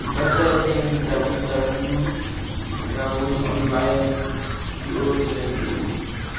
websaeteng www dawineonline co za